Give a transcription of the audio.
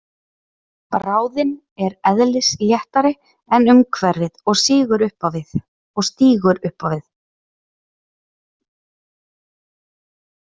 Bráðin er eðlisléttari en umhverfið og stígur upp á við.